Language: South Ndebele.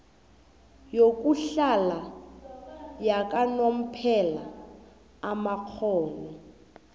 yokuhlala yakanomphela amakghono